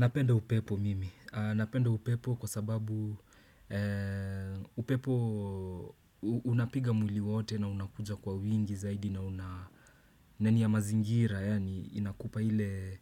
Napenda upepo mimi. Napenda upepo kwa sababu upepo unapiga mwili wote na unakuja kwa wingi zaidi na ni ya mazingira yaani inakupa ile